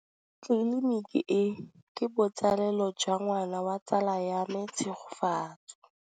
Tleliniki e, ke botsalêlô jwa ngwana wa tsala ya me Tshegofatso.